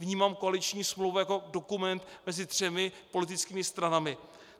Vnímám koaliční smlouvu jako dokument mezi třemi politickými stranami.